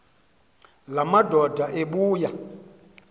la madoda ebuya